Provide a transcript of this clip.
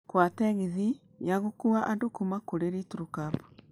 kũhoya tegithi ya gũkuua andũ kuuma kũrĩ litile cab